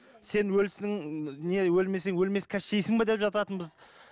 сен өліксің не өлмесең өлмес кащейсің бе деп жататынбыз